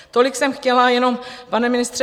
Tolik jsem chtěla jenom, pane ministře.